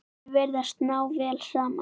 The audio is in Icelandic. Þau virðast ná vel saman.